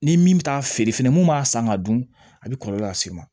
Ni min bɛ taa feere fɛnɛ mun b'a san ka dun a bɛ kɔlɔlɔ lase i ma